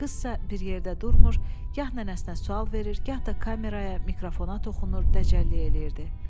Qız isə bir yerdə durmur, gah nənəsinə sual verir, gah da kameraya, mikrofona toxunur, dəcəllik eləyirdi.